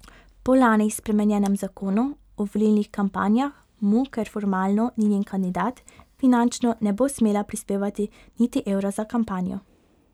Po lani spremenjenem zakonu o volilnih kampanjah mu, ker formalno ni njen kandidat, finančno ne bo smela prispevati niti evra za kampanjo.